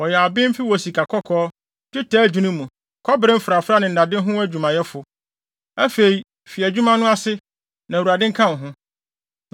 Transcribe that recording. Wɔyɛ abenfo wɔ sikakɔkɔɔ, dwetɛ adwinni mu, kɔbere mfrafrae ne nnade ho adwumayɛfo. Afei fi adwuma no ase, na Awurade nka wo ho.”